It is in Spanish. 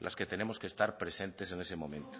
las que tenemos que estar presentes en ese momento